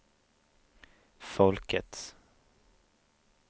folkets